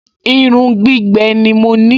Irun gbígbẹ ni mo ní